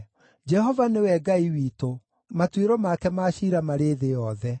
Jehova nĩwe Ngai witũ; matuĩro make ma ciira marĩ thĩ yothe.